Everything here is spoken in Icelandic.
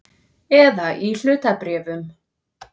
Eða í hlutabréfum.